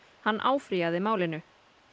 hann áfrýjaði málinu